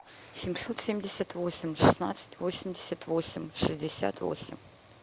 семьсот семьдесят восемь шестнадцать восемьдесят восемь шестьдесят восемь